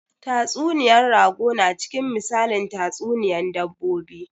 Tatsuniya rago na cikin misalin tatsuniyan dabbobi